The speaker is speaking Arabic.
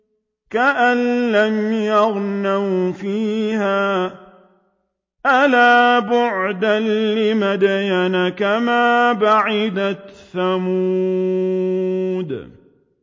كَأَن لَّمْ يَغْنَوْا فِيهَا ۗ أَلَا بُعْدًا لِّمَدْيَنَ كَمَا بَعِدَتْ ثَمُودُ